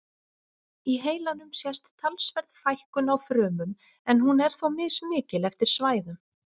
Í heilanum sést talsverð fækkun á frumum en hún er þó mismikil eftir svæðum.